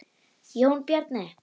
Jón Bjarni.